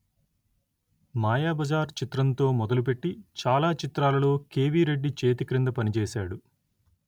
మాయాబజార్ చిత్రంతో మొదలుపెట్టి చాలా చిత్రాలలో కెవి రెడ్డి చేతిక్రింద పనిచేశాడు